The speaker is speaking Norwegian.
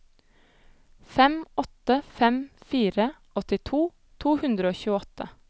fem åtte fem fire åttito to hundre og tjueåtte